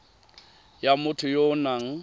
ya motho ya o nang